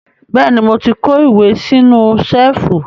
Bẹ́ẹ̀ ni, mo ti kó ìwé sínú ṣẹ́ẹ́fù.